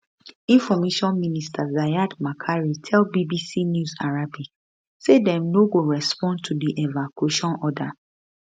information minister ziad makary tell bbc news arabic say dem no go respond to di evacuation order